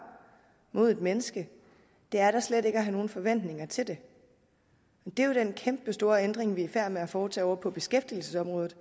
mod et menneske er slet ikke at have nogen forventninger til det det er jo den kæmpestore ændring vi er i færd med at foretage ovre på beskæftigelsesområdet